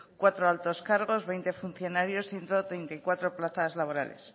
cuatro altos cargos veinte funcionarios ciento treinta y cuatro plazas laborales